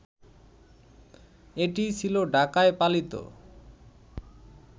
এটিই ছিলো ঢাকায় পালিত